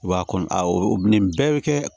I b'a kɔni nin bɛɛ bɛ kɛ